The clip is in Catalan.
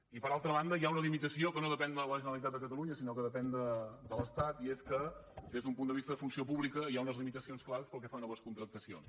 i per altra banda hi ha una limitació que no depèn de la generalitat de catalunya sinó que depèn de l’estat i és que des d’un punt de vista de funció pública hi ha unes limitacions clares pel que fa a noves contractacions